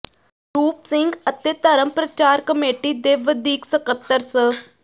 ਰੂਪ ਸਿੰਘ ਅਤੇ ਧਰਮ ਪ੍ਰਚਾਰ ਕਮੇਟੀ ਦੇ ਵਧੀਕ ਸਕੱਤਰ ਸ